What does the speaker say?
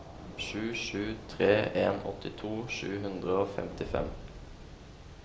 sju sju tre en åttito sju hundre og tjuefem